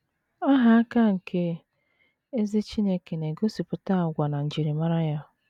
Aha aka nke ezi Chineke na - egosipụta àgwà na njimara ya.